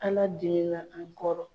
Ala dimi na an kɔrɔ.